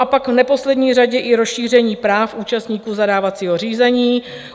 A pak v neposlední řadě i rozšíření práv účastníků zadávacího řízení.